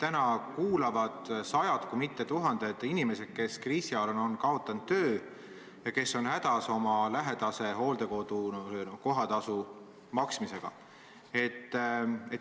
Meid kuulavad täna sajad kui mitte tuhanded inimesed, kes on kriisi ajal kaotanud töö ja seetõttu hädas oma lähedase hooldekodu kohatasu maksmisega.